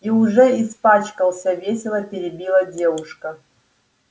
и уже испачкался весело перебила девушка